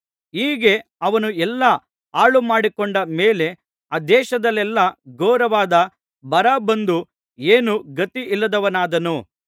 ಹೀಗೆ ಅವನು ಎಲ್ಲಾ ಹಾಳುಮಾಡಿಕೊಂಡ ಮೇಲೆ ಆ ದೇಶದಲ್ಲೆಲ್ಲಾ ಘೋರವಾದ ಬರ ಬಂದು ಏನೂ ಗತಿಯಿಲ್ಲದವನಾದನು